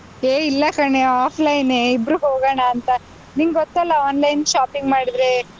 ಏಯ್! ಇಲ್ಲ ಕಣೇ offline ಎ ಇಬ್ರೂ ಹೋಗೋಣಂತ . ನಿಂಗೊತ್ತಲ್ಲ online shopping ಮಾಡಿದ್ರೆ.